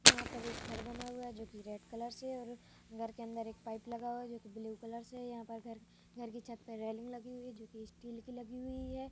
यहाँ पर एक घर बना हुआ है जो की रेड कलर से है और घर के अंदर एक पाइप लगा हुआ है जो ब्लू कलर से है यहाँ पर घर घर की छत्त पर रेलिंग लगी हुई है जो की स्टील की लगी हुई है ।